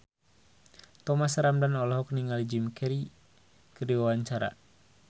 Thomas Ramdhan olohok ningali Jim Carey keur diwawancara